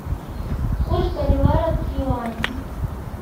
курс боливара к юаню